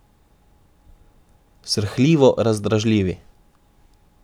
Srhljivo razdražljivi.